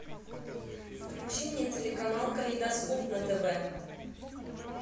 включи мне телеканал калейдоскоп на тв